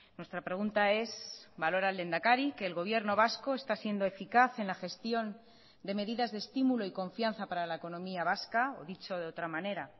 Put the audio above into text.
nuestra pregunta es valora el lehendakari que el gobierno vasco está siendo eficaz en la gestión de medidas de estímulo y confianza para la economía vasca o dicho de otra manera